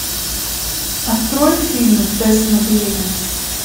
открой фильм тест на беременность